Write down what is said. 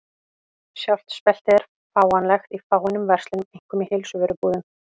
Sjálft speltið er fáanlegt í fáeinum verslunum, einkum í heilsuvörubúðum.